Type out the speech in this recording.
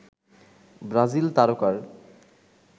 Brazil তারকার